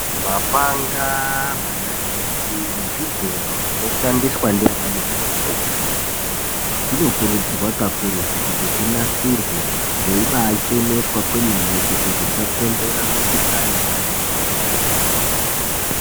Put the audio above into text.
Mapanga ,manaiti nezvigero zvinoshandiswa ndianamukoti nemadhokodheya zvinokurudzirwa kakurutu kuti zvinasirwe zveibaacheneswa kwemene kuti zvisakonzera mikhuhlani yakati kuti.